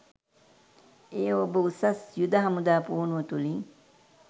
එය ඔබ උසස් යුද හමුදා පුහුණුව තුලින්